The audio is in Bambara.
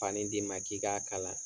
Fani d'i ma k'i k'a kala